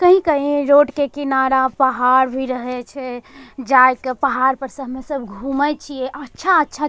कही-कही रोड के किनारा पहाड़ भी रहे छे जाए क पहाड़ पर स हम सब घूमे छिए अच्छा-अच्छा --